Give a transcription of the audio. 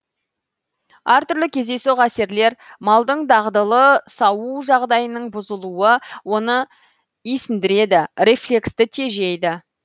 әр түрлі кездейсоқ әсерлер малдың дағдылы сауу жағдайының бұзылуы оны исіндіреді рефлексті тежейді